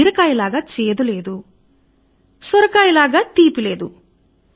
బీరకాయ లాగా చేదుగా లేదు సొరకాయలా తీయగా లేదు